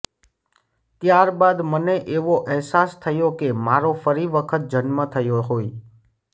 ત્યારબાદ મને એવો અહેસાસ થયો કે મારો ફરી વખત જન્મ થયો હોય